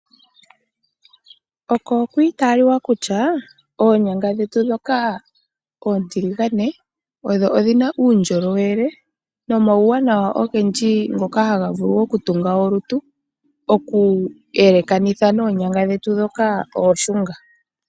Oko okwii taliwa kutya, oonyanga dhetu dhoka oontiligane odho odhi na uundjolowele no mawuwanawa ogendji ngoka ha ga vulu oku tunga olutu, oku yelekanitha noonyanga dhetu dhoka ooshunga.